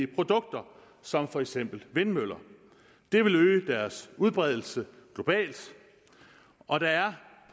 produkter som for eksempel vindmøller det vil øge deres udbredelse globalt og der er